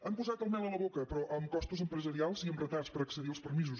han posat la mel a la boca però amb costos empresarials i amb retards per accedir als permisos